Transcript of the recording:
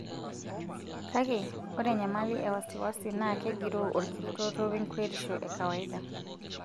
Kake, ore enyamali e wasiwasi naa kegiroo olkirutoto wenkuretisho e kawaida.